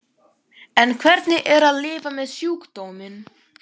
En hvernig er að lifa með sjúkdóminn?